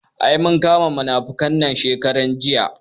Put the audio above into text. Ai mun kama munafukar nan shekaran jiya